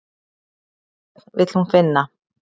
Hvern vill hún finna?